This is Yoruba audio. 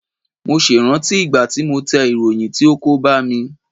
Mo ṣe ìrántí ìgbà tí mo tẹ ìròyìn tí ó kó bá mi.